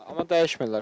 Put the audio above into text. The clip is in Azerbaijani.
Amma dəyişmirlər.